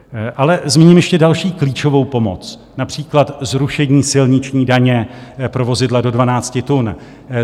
Ale zmíním ještě další klíčovou pomoc, například zrušení silniční daně pro vozidla do 12 tun.